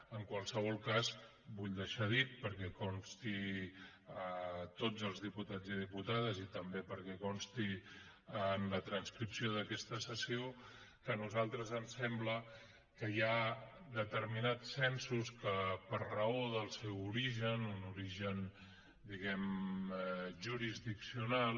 en qualsevol cas vull deixar dit perquè consti a tots els diputats i diputades i també perquè consti en la transcripció d’aquesta sessió que a nosaltres ens sembla que hi ha determinats censos que per raó del seu origen un origen jurisdiccional